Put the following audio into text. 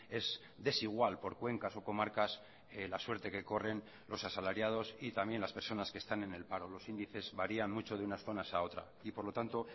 es desigual por cuencas o comarcas la suerte que corren los asalariados y también las personas que están en el paro los índices varían mucho de unas zonas a otra y por lo tanto